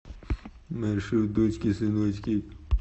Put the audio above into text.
маршрут дочки сыночки